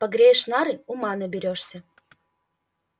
погреешь нары ума наберёшься